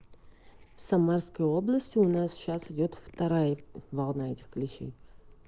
в самарской области у нас сейчас идёт вторая волна этих клещей